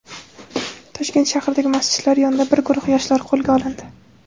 Toshkent shahridagi masjidlar yonida bir guruh yoshlar qo‘lga olindi.